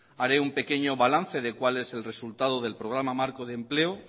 haré un pequeño balance de cuál es el resultado del programa marco de empleo